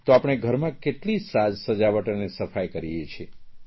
તો આપણે ઘરમાં કેટલી સાજ સજાવટ અને સફાઇ કરીએ છીએ